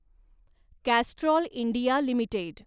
Castrol India limited